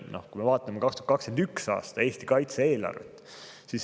Vaatame Eesti 2021. aasta kaitse-eelarvet.